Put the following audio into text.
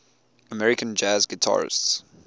american jazz guitarists